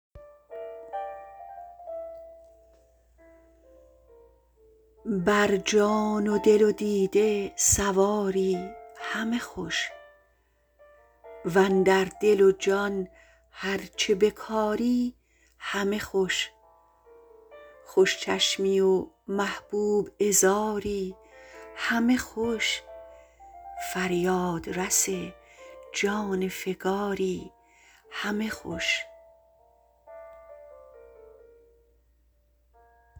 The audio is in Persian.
بر جان و دل و دیده سواری همه خوش واندر دل و جان هرچه بکاری همه خوش خوش چشمی و محبوب عذاری همه خوش فریاد رس جان فکاری همه خوش